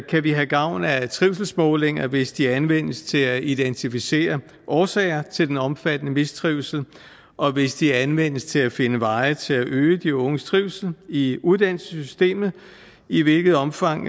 kan vi have gavn af trivselsmålinger hvis de anvendes til at identificere årsager til den omfattende mistrivsel og hvis de anvendes til at finde veje til at øge de unges trivsel i uddannelsessystemet i hvilket omfang